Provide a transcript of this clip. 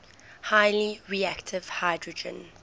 highly reactive hydrogen